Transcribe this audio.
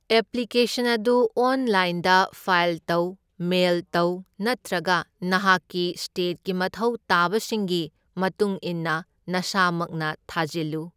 Application ꯑꯗꯨ ꯑꯣꯟꯂꯥꯏꯟꯗ file ꯇꯧ, ꯃꯦꯏꯜ ꯇꯧ ꯅꯠꯇ꯭ꯔꯒ ꯅꯍꯥꯛꯀꯤ ꯁ꯭ꯇꯦꯠꯀꯤ ꯃꯊꯧ ꯇꯥꯕꯁꯤꯡꯒꯤ ꯃꯇꯨꯡꯏꯟꯅ ꯅꯁꯥꯃꯛꯅ ꯊꯥꯖꯜꯂꯨ꯫